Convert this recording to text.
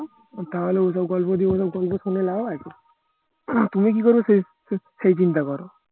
তাহলে ওসব গল্প ওসব গল্প শুনে লাভ আছে তুমি কি করবে সে চিন্তা করো